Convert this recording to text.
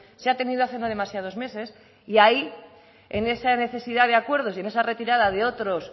se ha tenido hace no demasiados meses y ahí en esa necesidad de acuerdos y en esa retirada de otros